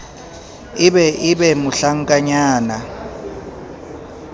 e be e be mohlankanyana